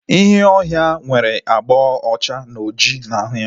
Ịnyịnya ọhịa nwere abga ọcha na ọjị na ahụ ya